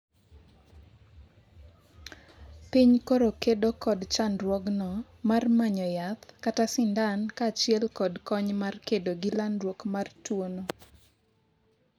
piny koro kedo kod chandruogno mar manyo yath kata sindan kaachiel kod kony mar kedo gi landruok mar tuono